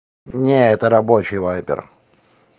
нет это рабочий вайбер